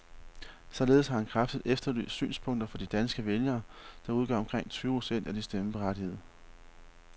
Således har han kraftigt efterlyst synspunkter fra de danske vælgere, der udgør omkring tyve procent af de stemmeberettigede.